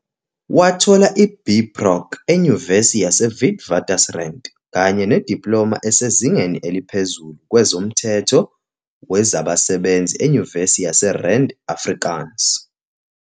Wathola i-B Proc eNyuvesi yaseWitwatersrand kanye nediploma esezingeni eliphezulu kwezomthetho wezabasebenzi eNyuvesi yaseRand Afrikaans.